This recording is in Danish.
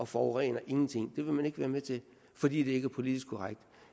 forurener det vil man ikke være med til fordi det ikke er politisk korrekt